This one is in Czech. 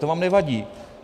To vám nevadí?